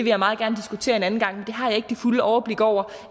jeg meget gerne diskutere en anden gang men det har jeg ikke det fulde overblik over